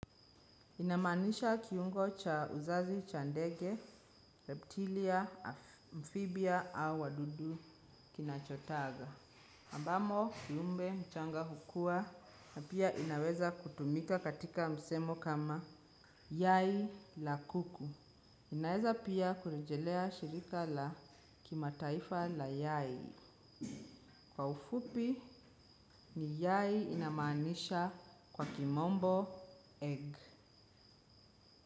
Inamaanisha kiungo cha uzazi cha ndege, reptilia, amphibia au wadudu kinachotaga. Ambamo kiumbe mchanga hukua na pia inaweza kutumika katika msemo kama yai la kuku. Inaeza pia kurejelea shirika la kimataifa la yai. Kwa ufupi ni yai inamaanisha kwa kimombo egg.